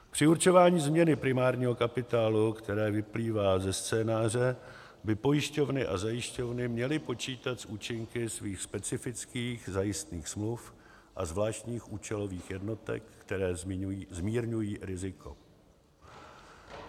Při určování změny primárního kapitálu, která vyplývá ze scénáře, by pojišťovny a zajišťovny měly počítat s účinky svých specifických zajistných smluv a zvláštních účelových jednotek, které zmírňují riziko.